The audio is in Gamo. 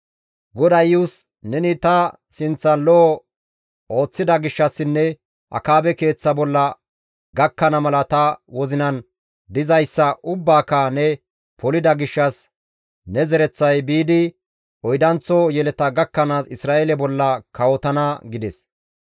GODAY Iyus, «Neni ta sinththan lo7o ooththida gishshassinne Akaabe keeththa bolla gakkana mala ta wozinan dizayssa ubbaaka ne polida gishshas ne zereththay biidi oydanththo yeleta gakkanaas Isra7eele bolla kawotana» gides.